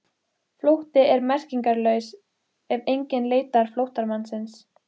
Flótti er merkingarlaus ef enginn leitar flóttamannsins.